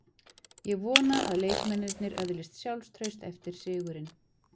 Ég vona að leikmennirnir öðlist sjálfstraust eftir sigurinn.